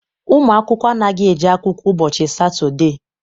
Ụmụ akwụkwọ anaghị eje akwụkwọ ụbọchị Satọde.